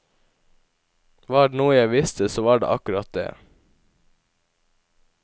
Var det noe jeg visste så var det akkurat det.